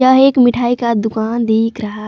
यह एक मिठाई का दुकान दिख रहा--